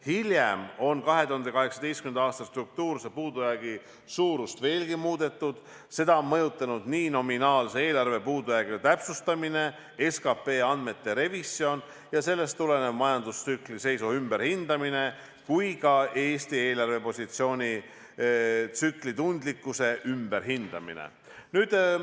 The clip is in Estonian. " Hiljem on 2018. aasta struktuurse puudujäägi suurust veelgi muudetud, seda on mõjutanud nii nominaalse eelarve puudujäägi täpsustamine, SKP andmete revisjon ja sellest tulenev majandustsükli seisu ümberhindamine kui ka Eesti eelarvepositsiooni tsüklitundlikkuse ümberhindamine.